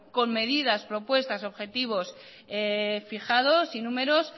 con medidas propuestas objetivos fijados y números